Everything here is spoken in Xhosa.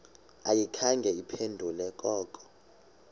ayikhange iphendule koko